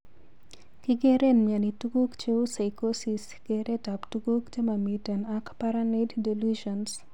Kigeren mioni tuguk cheu Psychosis Keret ap tuguk chemamiten ak paranoid delusions.